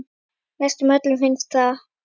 Næstum öllum finnst það.